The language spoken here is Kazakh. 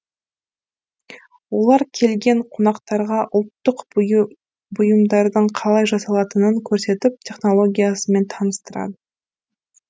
олар келген қонақтарға ұлттық бұйымдардың қалай жасалатынын көрсетіп технологиясымен таныстырады